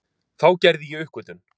Þá gerði ég uppgötvun